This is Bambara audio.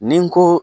Ni n ko